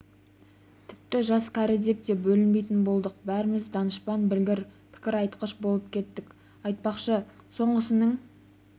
тіпті жас кәрі деп те бөлінбейтін болдық бәріміз данышпан білгір пікір айтқыш болып кеттік айтпақшы соңғысының